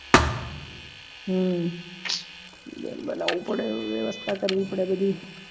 હમ બનવું પડે વ્યવસ્થા કરવી પડે બધી